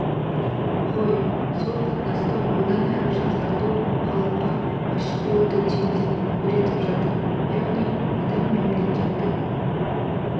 ғой сол қатынасты одан әрі жақсарту халыққа ашық болуды түйіндеп үйретіп жатыр яғни адам мемлекеттік